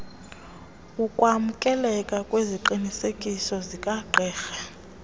ukwamkeleka kweziqinisekiso zikagqirha